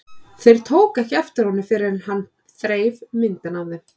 Þær tóku ekki eftir honum fyrr en hann þreif myndina af þeim.